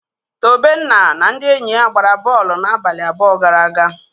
Tobenna na ndị enyi ya gbara bọọlụ n'abalị abụọ gara aga.